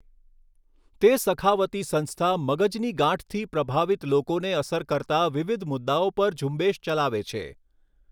તે સખાવતી સંસ્થા મગજની ગાંઠથી પ્રભાવિત લોકોને અસર કરતા વિવિધ મુદ્દાઓ પર ઝુંબેશ ચલાવે છે.